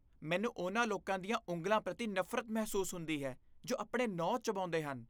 ਮੈਨੂੰ ਉਨ੍ਹਾਂ ਲੋਕਾਂ ਦੀਆਂ ਉਂਗਲਾਂ ਪ੍ਰਤੀ ਨਫ਼ਰਤ ਮਹਿਸੂਸ ਹੁੰਦੀ ਹੈ ਜੋ ਆਪਣੇ ਨਹੁੰ ਚਬਾਉਂਦੇ ਹਨ।